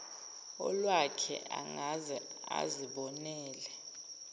olwakhe angaze azibonele